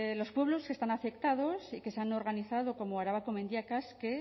los pueblos que están afectados que se han organizado como arabako mendiak que